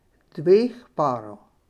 Dveh parov.